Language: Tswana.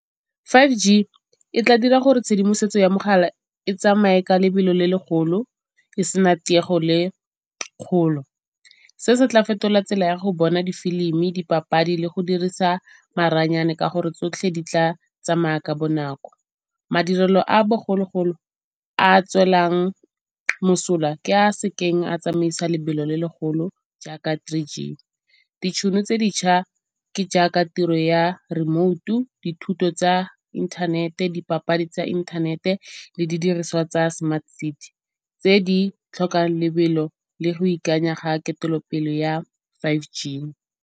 Five G e tla dira gore tshedimosetso ya mogala e tsamaye ka lebelo le legolo e se na tiego le kgolo. Se se tla fetola tsela ya go bona difilimi, dipapadi le go dirisa maranyane ka gore tsotlhe di tla tsamaya ka bonako. Madirelo a bogologolo a tswelang mosola ke a se keng a tsamaisa lebelo le legolo jaaka three G. Ditšhono tse dintšha ke jaaka tiro ya remoutu, dithuto tsa inthanete, dipapadi tsa inthanete le didiriswa tsa smart tse di tlhokang lebelo le go ikanya ga ketelo pele ya five G.